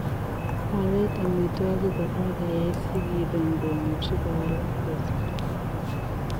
Waleet amiitwogik korook keyai sikiroo ngomuchii kowalak portoo.